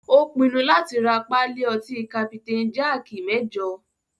Ó pinnu láti rá pálí ọtí kapitain jaaki mẹ́jọ.